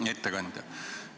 Hea ettekandja!